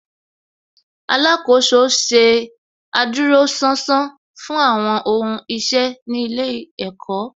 Alákòóso ṣe adúróṣánṣán fún àwọn ohun iṣẹ́ ní ilé ẹ̀kọ́